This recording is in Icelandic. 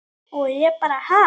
Og ég bara ha?